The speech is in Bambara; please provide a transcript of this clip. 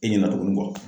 E ɲɛna tugun